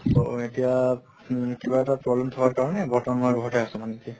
তʼ এতিয়া উম কিবা এটা problem থকাৰ কাৰণে বৰ্তমান মই ঘৰতে আছো মানে এতিয়া